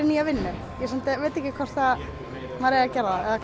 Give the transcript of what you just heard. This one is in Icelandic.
nýja vinnu ég samt veit ekki hvort maður eigi að gera